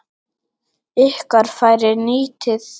Ykkar færi nýtið.